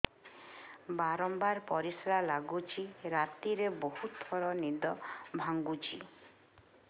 ବାରମ୍ବାର ପରିଶ୍ରା ଲାଗୁଚି ରାତିରେ ବହୁତ ଥର ନିଦ ଭାଙ୍ଗୁଛି